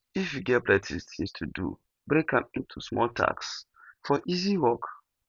if you get plenty things to do break am into small tasks for easy work